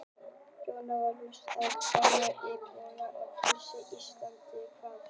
Jón Júlíus: Þú ert frá Króatíu en búinn að vera búsettur á Íslandi hvað lengi?